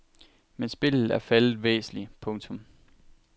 Men spillet er faldet væsentligt. punktum